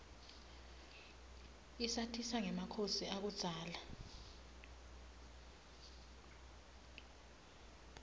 isatisa rgemakhosi akubdzala